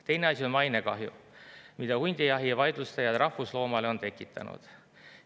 Teine asi on mainekahju, mida hundijahi vaidlustajad rahvusloomale on tekitanud.